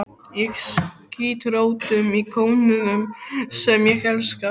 Ég skýt rótum í konunum sem ég elska.